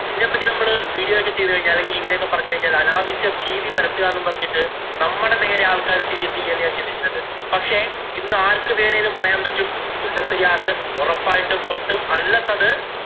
ഇതിനെ പറ്റി നമ്മള് video ഒക്കെ ചെയ്തുകഴിഞ്ഞാല് അല്ലെങ്കില്‍ ഇങ്ങനെയൊക്കെ പറഞ്ഞു കഴിഞ്ഞാല് അനാവശ്യ ഭീതി പരത്തുകാ എന്ന് പറഞ്ഞിട്ട്‌ നമ്മടെ നേരെ ആള്‍ക്കാര് തിരിയത്തില്ലേ എന്ന് ഞാന്‍ ചിന്തിച്ചിട്ടുണ്ട്. പക്ഷേ, ഇന്ന് ആര്‍ക്കു വേണമെങ്കിലും പറയാന്‍ പറ്റും മുല്ലപ്പെരിയാര്‍ ഉറപ്പായിട്ടും പൊട്ടും. unless അത്